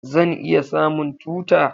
Zan iya samun tuta?